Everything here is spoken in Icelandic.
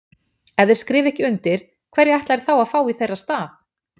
Ef þeir skrifa ekki undir, hverja ætla þeir að fá í þeirra stað?